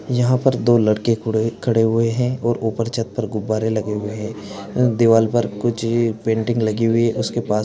यहाँ पर दो लड़के खुडे खड़े हुए हैं और ऊपर छत पर गुब्बारे लगे हुए हैं दीवाल पर कुछ ही पेंटिंग लगी हुई उसके पास --